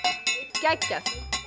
geggjað